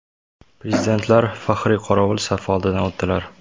Prezidentlar faxriy qorovul safi oldidan o‘tdilar.